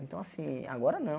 Então, assim, agora não.